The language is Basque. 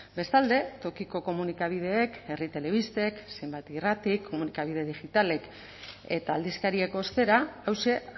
bestalde tokiko komunikabideek herri telebistek zenbat irratik komunikabide digitalek eta aldizkariek ostera hauxe